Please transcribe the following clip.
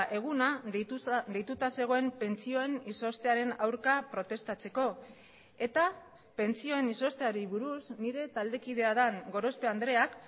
eguna deituta zegoen pentsioen izoztearen aurka protestatzeko eta pentsioen izozteari buruz nire taldekidea den gorospe andreak